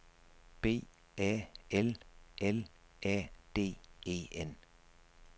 B A L L A D E N